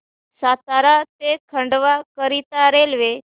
सातारा ते खंडवा करीता रेल्वे